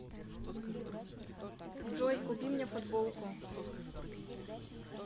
джой купи мне футболку